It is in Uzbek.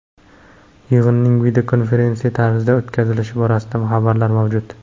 Yig‘inning videokonferensiya tarzida o‘tkazilishi borasida xabarlar mavjud.